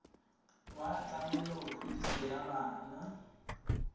wa tlamelo kgodiso ya bana